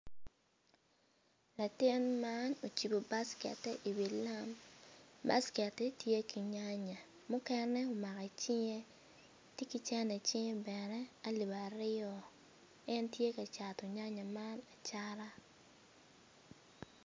Latin an ocibo baskette iwi lam basketi tye ki nyanya mukene omako i cinge tye ki cene icinge bene alip aryo en tye ka cato nyanya man acata.